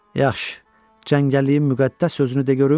Yaxşı, cəngəlliyin müqəddəs sözünü de görüm?